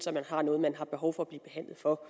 at man har noget man har behov for at blive behandlet for